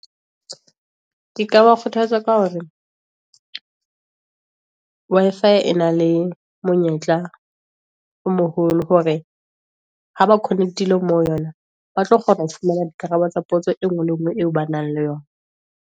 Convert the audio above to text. Ke ka ba kgothatsa ka hore, Wi-Fi e na le monyetla o moholo, hore ha ba connect-ile mo ho yona, ba tlo kgona ho fumana di karabo tsa potso e nngwe le nngwe, eo ba nang le yona.